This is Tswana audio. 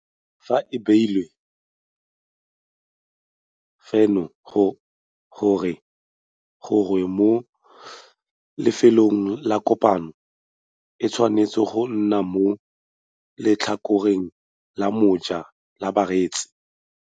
Fa e beilwe felo gongwe mo lefelong la kopano, e tshwanetse go nna mo letlhakoreng la moja la bareetsi.